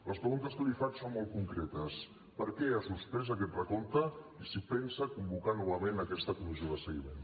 les preguntes que li faig són molt concretes per què ha suspès aquest recompte i si pensa convocar novament aquesta comissió de seguiment